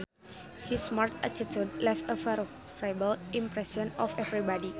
His smart attitude left a favorable impression on everybody